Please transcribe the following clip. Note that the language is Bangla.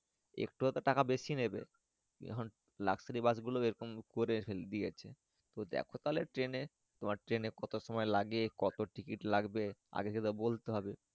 একটু হয় তো টাকা বেশি নিবে এখন Luxury bus এরকম করে দিয়েছে দেখো তাহলে Train এ তোমার Train কত সময় লাগে কত Ticket লাগবে আগে সেটা বলতে হবে।